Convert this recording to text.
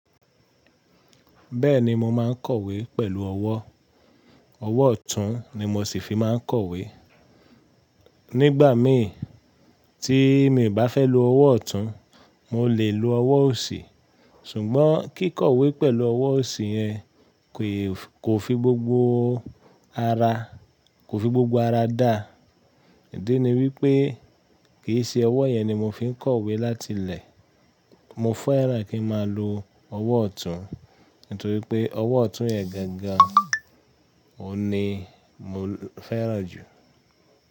Bẹ́ẹ̀ni mo máa ń kọ̀wé pẹ̀lú ọwọ́. Ọwọ́ ọ̀tún ni mo ṣì fi máa ń kọ̀wé. Nígbà mí tí mi ò bá fẹ́ lo ọwọ́ ọ̀tún, mo lè lo ọwọ́ òsì. Ṣùgbọ́n kí kọ̀wé pẹ̀lú ọwọ́ òsì yẹn kò fi gbogbo ara, kò fi gbogbo ara dá. Ìdí ni wípé kì í ṣe ọwọ́ yẹn ni mo fi ń kọ̀wé láti ilẹ̀. Mo fẹ́ràn kí n máa lo ọwọ́ ọ̀tún, nítorí pé ọwọ́ ọ̀tún yẹn gangan òní mo fẹ́ràn jù.